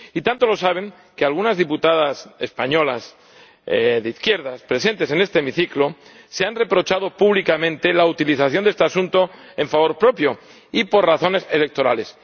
Y tanto lo saben que algunas diputadas españolas de izquierdas presentes en este hemiciclo se han reprochado públicamente la utilización de este asunto en favor propio y por razones electorales.